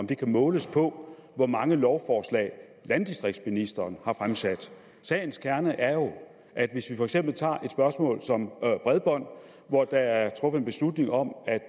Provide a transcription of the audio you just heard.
kan måles på hvor mange lovforslag landdistriktsministeren har fremsat sagens kerne er jo at hvis vi for eksempel tager et spørgsmål som bredbånd hvor der er truffet en beslutning om